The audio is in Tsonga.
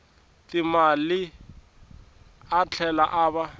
timali a tlhela a va